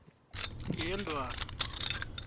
yendwana